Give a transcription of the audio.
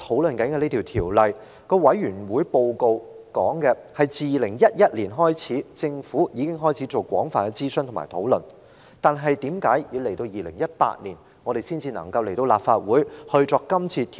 《旅遊業條例草案》委員會的報告指出，政府自2011年起已進行廣泛諮詢和討論，但為何要到2018年，《旅遊業條例草案》才提交立法會作討論呢？